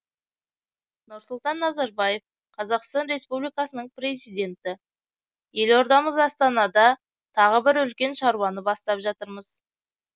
нұрсұлтан назарбаев қазақстан республикасының президенті елордамыз астанада тағы бір үлкен шаруаны бастап жатырмыз